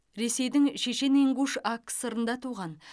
ресейдің шешен ингуш акср ында туған